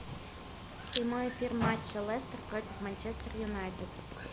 прямой эфир матча лестер против манчестер юнайтед